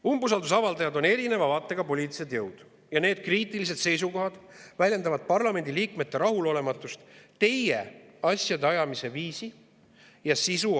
Umbusalduse avaldajad on erineva vaatega poliitilised jõud ja need kriitilised seisukohad väljendavad parlamendi liikmete rahulolematust teie asjade ajamise viisi ja sisuga.